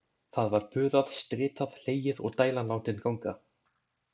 Það var puðað, stritað, hlegið og dælan látin ganga.